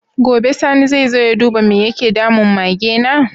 Gobe sani zai zo ya duba me yake damun Mage na?